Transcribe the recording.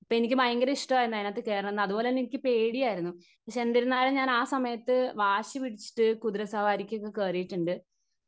Speaker 1 പ്പ എനിക്ക് പയങ്കര ഇഷ്ടരുന്നു അതിനകത് കേറണംന്ന് അതുപോലെതന്നെ എനിക്ക് പേടിയായിരുന്നു. പാക്ഷെ എന്തിരുന്നാലും ആ സമയത്ത് വാശി പിടിച്ചിട്ട് കുതിര സവാരിക്കൊക്കെ കേറീട്ടുണ്ട്.